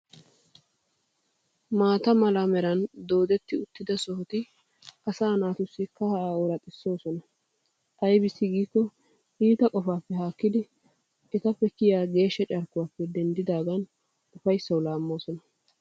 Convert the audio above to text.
Mata mala meeran doddettidi uttida sohoti asa naatusi kaaha oraxxisoosona. Ayibbis gikko itta qofappe hakkidi ettappe kiyyiya geeshsha carkkuwappe denddidaagan uffayissawu laammoosona.